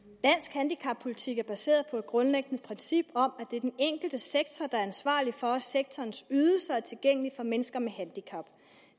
handicappolitik er baseret på et grundlæggende princip om at det er den enkelte sektor der er ansvarlig for at sektorens ydelser er tilgængelige for mennesker med handicap